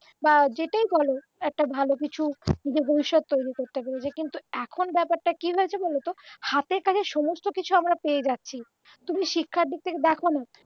বা যেটাই বল একটা ভালো কিছু নিজের ভবিষ্যৎ তৈরি করতে পেরেছে কিন্তু এখন ব্যাপারটা কি হয়েছে বলতো হাতের কাছে সমস্ত কিছু আমরা পেয়ে যাচ্ছি তুমি শিক্ষার দিক থেকে দেখো না